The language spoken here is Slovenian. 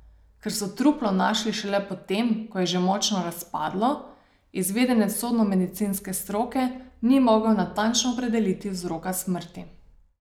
Ker so truplo našli šele po tem, ko je že močno razpadlo, izvedenec sodnomedicinske stroke ni mogel natančno opredeliti vzroka smrti.